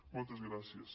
moltes gràcies